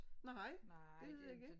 Nej det er det ikke